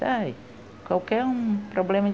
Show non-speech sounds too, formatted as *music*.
*unintelligible* qualquer um problema